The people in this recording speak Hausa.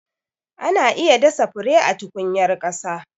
Ana iya dasa fure a tukunyar ƙasa.